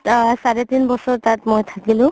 আ চাৰে তিন বছৰ তাত মই থাকিলো